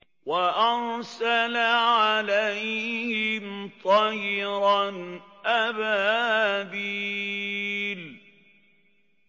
وَأَرْسَلَ عَلَيْهِمْ طَيْرًا أَبَابِيلَ